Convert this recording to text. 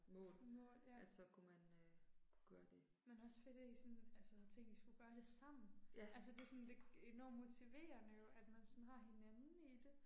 Mål ja. Men også fedt at I sådan altså havde tænkt I skulle gøre det sammen. Altså det er sådan enormt motiverende jo at man sådan har hinanden i det